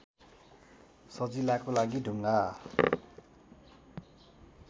सजिलाको लागि ढुङ्गा